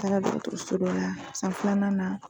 Taara dɔgɔtɔrɔsɔ dɔ laa san filanan na